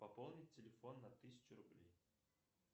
пополнить телефон на тысячу рублей